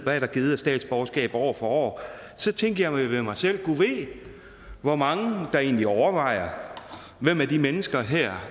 der er givet af statsborgerskab år for år så tænkte jeg ved mig selv gad vide hvor mange der egentlig overvejer hvem af de mennesker her